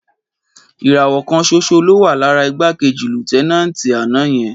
Ìràwọ̀ kan ṣoṣo ló wà lára igbákejì Lútẹ́náǹtì àná yẹn.